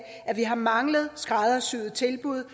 at vi har manglet skræddersyede tilbud